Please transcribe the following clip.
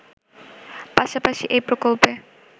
পাশাপাশি এই প্রকল্পে